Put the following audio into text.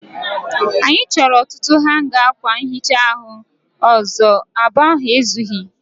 Anyị chọrọ ọtụtụ hanga akwa nhicha ahu ọzọ. Abụọ ahụ ezughị.